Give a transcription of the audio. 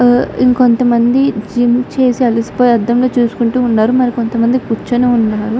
ఇంకొంతమంది జిమ్ చేసి అలిసిపోయి అద్దంలో చూసుకుంటూ ఉన్నారు. మరికొంతమంది కూర్చొని ఉన్నారు.